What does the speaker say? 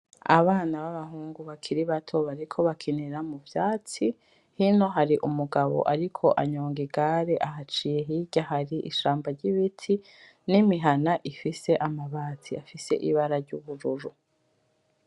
Abana b'abahungu bakiri bato bariko bakinira mu vyatsi. Hino hari umugabo ariko anyonga igare ahaciye. Hirya hari ishamba ry'ibiti n'imihana ifise amabati afise ibara ry'ubururu.